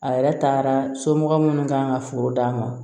A yɛrɛ taara somɔgɔ minnu kan ka foro d'a ma